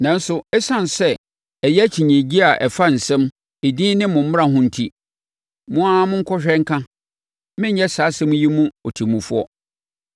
Nanso, ɛsiane sɛ ɛyɛ akyinnyegyeɛ a ɛfa nsɛm, edin ne mo mmara ho enti, mo ara monkɔhwɛ nka. Merenyɛ saa asɛm yi mu ɔtemmufoɔ.”